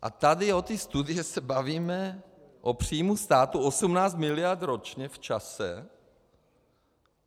A tady o té studii se bavíme o příjmu státu 18 miliard ročně v čase.